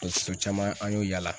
Dɔtɔrɔso caman an y'o yala